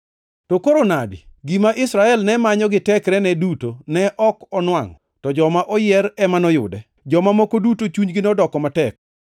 To koro nadi? Gima Israel ne manyo gi tekrene duto ne ok onwangʼo, to joma oyier ema noyude. Joma moko duto chunygi nodoko matek,